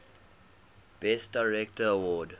best director award